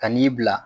Ka n'i bila